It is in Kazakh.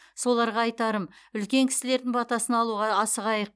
соларға айтарым үлкен кісілердің батасын алуға асығайық